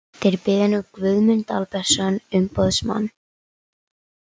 Þeir biðja nú Guðmund Albertsson umboðsmann